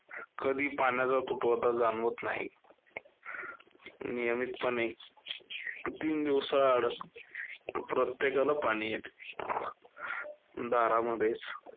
कधी पाण्याचा तुटवडा जाणवत नाही. नियमितपणे तीन दिवसांआड प्रत्येकाला पाणी येतं. दारामध्ये